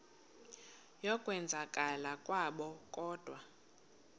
yokwenzakala kwabo kodwa